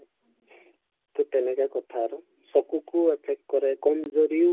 তে তেনেকুৱা কথা আৰু চকুতো effect কৰে কম যদিও